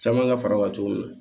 Caman ka fara o kan cogo min na